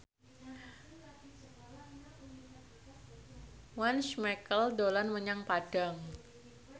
Once Mekel dolan menyang Padang